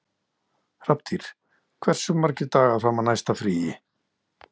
Hrafntýr, hversu margir dagar fram að næsta fríi?